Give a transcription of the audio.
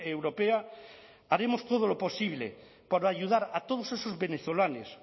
europea haremos todo lo posible por ayudar a todos esos venezolanos